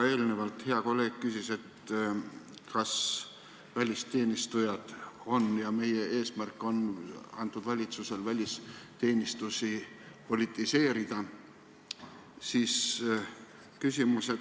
Enne üks hea kolleeg küsis, kas valitsuse eesmärk on välisteenistusi politiseerida.